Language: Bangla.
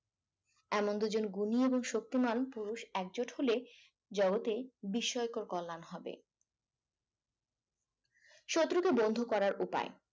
এমন দুজন গুণী এবং শক্তিমান পুরুষ একজোট হলে জগতের বিস্ময়কর কল্যাণ হবে শত্রুকে বন্ধুর করার উপায়